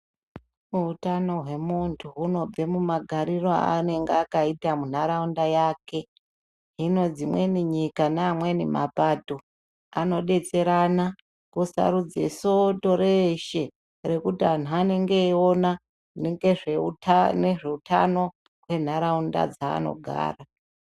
Utano hwemuntu hunobve mumagariro anenge akaita munharaunda yake hino dzimweni nyika neamweni mapato anodetserana kusarudze soto reshe rekuti antu anenge eiona ngezveutano nenharaunda dzaanogara.